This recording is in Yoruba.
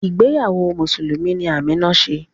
Ìgbéyàwó Mùsùlùmí ni Amina ṣe